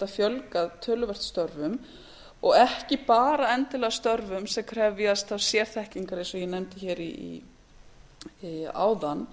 fjölgað töluvert störfum og ekki bara endilega störfum sem krefjast þá sérþekkingar eins og ég nefndi áðan